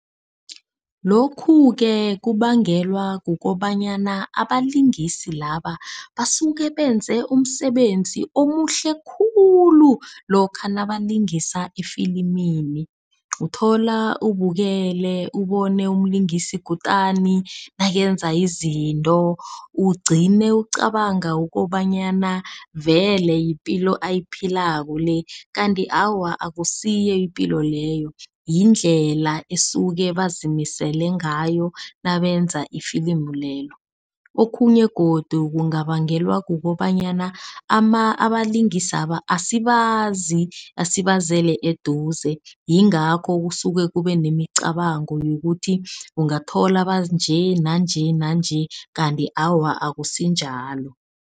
Lokhu-ke kubangelwa kukobanyana abalingisi laba basuke benze umsebenzi omuhle khulu, lokha nabalingisa efilimini. Uthola ubukele ubone umlingisi kutani nakenza izinto. Ugcine ucabanga ukobanyana vele yipilo ayiphilako le. Kanti awa akusiyo ipilo leyo yindlela esuke bazimisele ngayo nabenza ifilimu lelo. Okhunye godu kungabangelwa kukobanyana abalingisaba asibazi sibazele eduze. Yingakho kusuke kube nemicabango yokuthi ungathola banje nanje nanje, kanti awa akusinjalo.